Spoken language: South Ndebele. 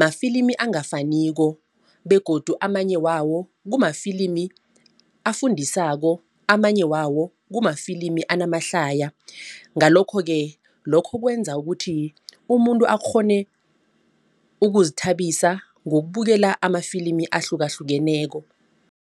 mafilimi angafaniko begodu amanye wawo kumafilimu afundisako. Amanye wawo kumafilimu anamahlaya. Ngalokho-ke lokho kwenza ukuthi umuntu akghone ukuzithabisa ngokubukela amafilimi ahlukahlukeneko.